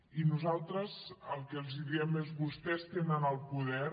i nosaltres el que els diem és vostès tenen el poder